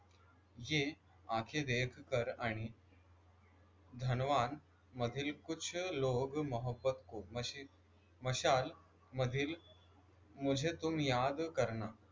ये आंखें देखकर आणि धनवान मधील कुछ लोग मोहब्बत को मशाल मधील मुझे तुम याद करना